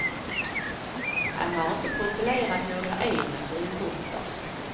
Han har inte profilerat några egna synpunkter.